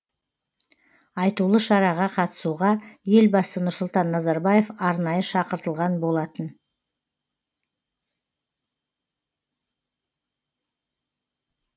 айтулы шараға қатысуға елбасы нұрсұлтан назарбаев арнайы шақыртылған болатын